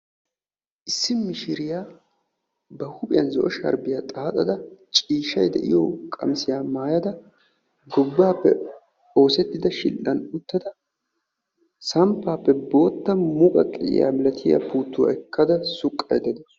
Issi mishiriyaa ba huuphiyan zo'o sharbbiyaa xaaxxada ciishshay de'iyo qammissiyaa maayyada gobbappe oosettida shidhdha uttada samppappe boottaa muqaqqiyaa puuttuwaa ekkada suqqaydda dawus.